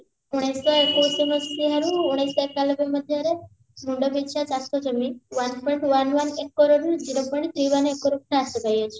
ଉଣେଇଶ ଶହ ଏକୋଇଶି ମସିହାରେ ଉଣେଇଶ ଶହ ଏକାଲବେ ମସିହାରେ ମୁଣ୍ଡପିଛା ଚାଷ ଜମି one point one one acre ରୁ zero point three one acre ହ୍ରାସ ପାଇଅଛି